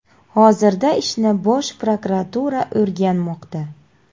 Hozirda ishni Bosh prokuratura o‘rganmoqda.